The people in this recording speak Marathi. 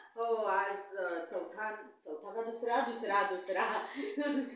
हम्म हो.